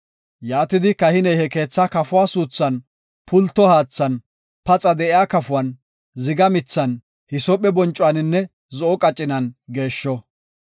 Yaatidi, kahiney he keethaa kafuwa suuthan, pulto haathan, paxa de7iya kafuwan, ziga mithan, hisoophe boncuwaninne zo7o qacinan geeshsho.